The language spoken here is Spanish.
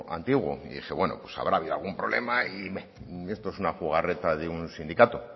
antiguo y dije bueno pues habrá habido algún problema y esto es una jugarreta de un sindicato